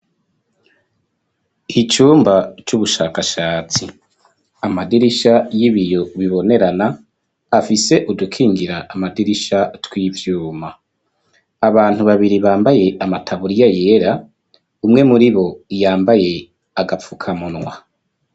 Icumba c'ubushakashatsi amadirisha y'ibiyo bibonerana afise udukingira amadirisha tw'ivyuma abantu babiri bambaye amataburiya yera umwe muri bo yambaye agapfukamunwa.